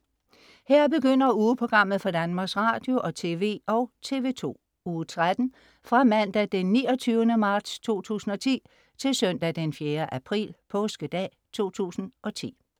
Her begynder ugeprogrammet for Danmarks Radio- og TV og TV2 Uge 13 Fra Mandag den 29. marts 2010 Til Søndag den 4. april Påskedag 2010